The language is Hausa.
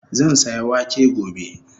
Zan saya wake gobe